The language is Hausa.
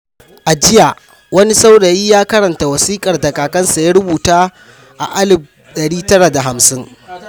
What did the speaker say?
A jiya, wani saurayi ya karanta wasiƙar da kakansa ya rubuta a 1950.